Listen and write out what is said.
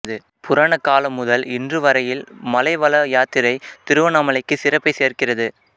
புராண காலம் முதல் இன்று வரையில் மலைவல யாத்திரை திருவண்ணாமலைக்கு சிறப்பைச் சேர்க்கிறது